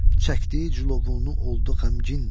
çəkdiyi cülovunu oldu qəmgin.